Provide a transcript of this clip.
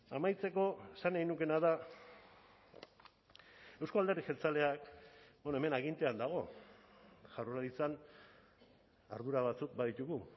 amaitzeko esan nahi nukeena da euzko alderdi jeltzaleak hemen agintean dago jaurlaritzan ardura batzuk baditugu